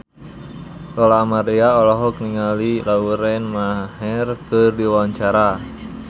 Lola Amaria olohok ningali Lauren Maher keur diwawancara